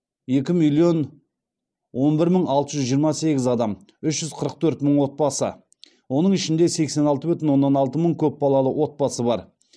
екі миллион он бір мың алты жүз жиырма сегіз адам үш жүз қырық төрт мың отбасы оның ішінде сексен алты бүтін оннан алты мың көпбалалы отбасы бар